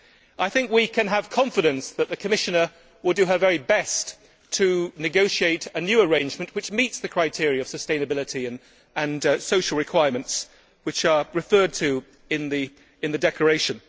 I think we can have confidence that the Commissioner will do her very best to negotiate a new arrangement which meets the criteria of sustainability and the social requirements referred to in the declaration.